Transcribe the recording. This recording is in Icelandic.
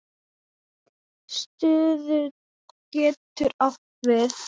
Stuðull getur átt við